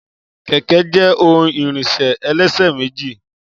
kẹ̀kẹ́ jé ohun ìrìnṣẹ̀ ẹlẹ́ṣẹ̀ méjì